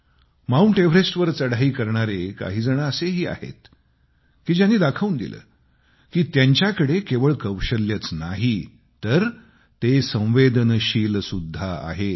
mount एव्हरेस्टवर चढाई करणारे काहीजण असेही आहेत की ज्यांनी दाखवून दिले कि त्यांच्याकडे केवळ कौशल्यच नाही तर ते संवदेनशील पण आहेत